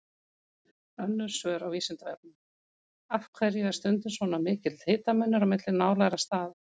Önnur svör á Vísindavefnum: Af hverju er stundum svona mikill hitamunur á milli nálægra staða?